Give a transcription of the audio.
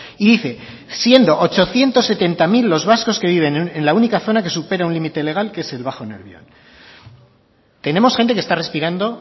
y dice siendo ochocientos setenta mil los vascos que viven en la única zona que supera un límite legal que es el bajo nervión tenemos gente que está respirando